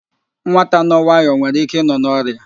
Nwata nọ nwayọ nwere ike ịnọ n'ọria